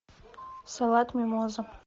салат мимоза